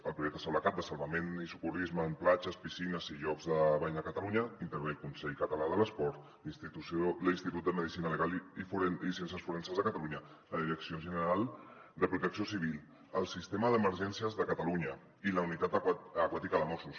el projecte salvacat de salvament i socorrisme en platges piscines i llocs de bany de catalunya hi intervé el consell català de l’esport l’institut de medicina legal i ciències forenses de catalunya la direcció general de protecció civil el sistema d’emergències de catalunya i la unitat aquàtica de mossos